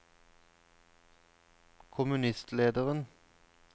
kommunistlederen